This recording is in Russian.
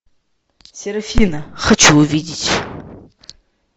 серафина хочу увидеть